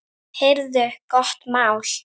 Heyrðu, gott mál!